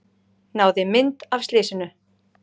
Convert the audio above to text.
Náði mynd af slysinu